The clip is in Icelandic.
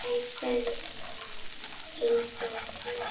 Kær kveðja, Eyþór frændi.